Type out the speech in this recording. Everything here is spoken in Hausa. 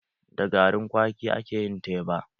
Da garin kwaki ake yin teba.